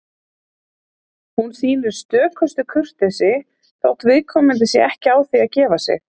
Hún sýnir stökustu kurteisi, þótt viðkomandi sé ekki á því að gefa sig.